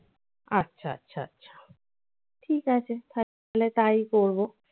আচ্ছা, আচ্ছা, আচ্ছা. ঠিক আছে. তাহলে তাই করবো.